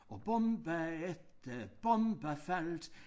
Og bombe efter bombe faldt